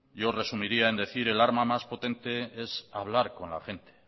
yo resumiría en decir el arma más potente es hablar con la gente